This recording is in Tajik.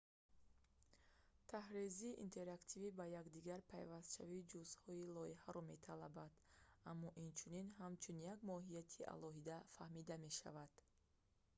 тарҳрезии интерактивӣ ба якдигар пайвастшавии ҷузъҳои лоиҳаро металабад аммо инчунин ҳамчун як моҳияти алоҳида фаҳмида мешавад